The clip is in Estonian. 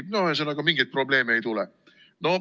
Ühesõnaga, mingeid probleeme ei tule.